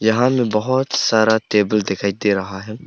यहां में बहुत सारा टेबल दिखाई दे रहा है।